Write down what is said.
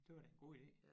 Det var da en god ide